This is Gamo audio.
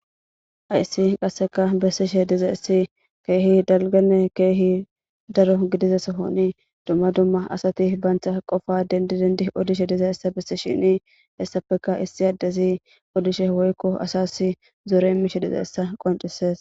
aysi qasseka bessishe diza issi keehi dalgane keehi daro gidizesohoni dumma dumma asati baanctha qofa dendidendi odishe diza issa bessi shini essafeka issi addezi odishe woykko asasi zoore mishe diza essa qoncises